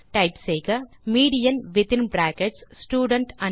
type செய்க median within brackets student marks